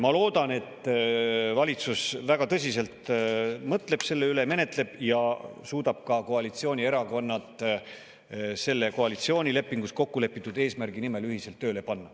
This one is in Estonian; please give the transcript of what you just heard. Ma loodan, et valitsus väga tõsiselt mõtleb selle üle, menetleb seda ja suudab ka koalitsioonierakonnad koalitsioonilepingus kokkulepitud eesmärgi nimel ühiselt tööle panna.